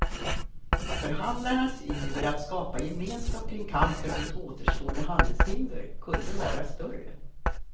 Förhandlarnas iver att skapa gemenskap kring kampen mot återstående handelshinder kunde vara större.